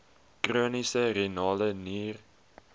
chroniese renale nier